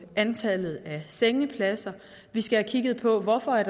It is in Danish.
antallet af sengepladser vi skal have kigget på hvorfor